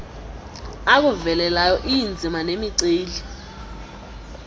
akuvelelayo iinzima nemiceli